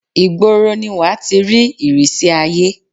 ìgboro ni wàá ti rí ìrísí àiyé